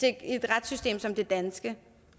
i et retssystem som det danske